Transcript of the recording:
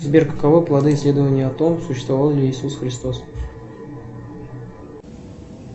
сбер каковы плоды исследования о том существовал ли иисус христос